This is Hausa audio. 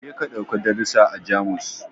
Je ka ɗauki darusa a Jamus